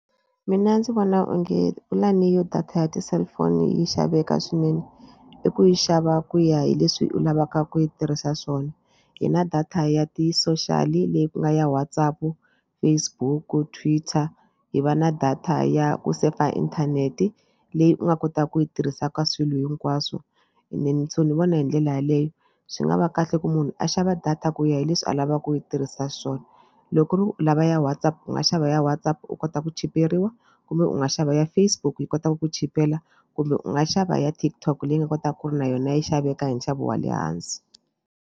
Mina ndzi vona onge pulani ya data ya ti-cellphone yi xaveka swinene i ku yi xava ku ya hi leswi u lavaka ku yi tirhisa swona. Hi na data ya ti-social leyi ku nga ya WhatsApp, Facebook, Twitter hi va na data ya ku se fa inthanete leyi u nga kotaka ku yi tirhisa ka swilo hinkwaswo and then so ni vona hi ndlela yaleyo. Swi nga va kahle ku munhu a xava data ku ya hi leswi a lavaka ku u yi tirhisa swona loko ku ri u lava ya WhatsApp u nga xava ya WhatsApp u kota ku chiperiwa kumbe u nga xava ya Facebook yi kotaka ku chipela kumbe u nga xava ya TikTok leyi nga kotaka ku ri na yona yi xaveka hi nxavo wa le hansi.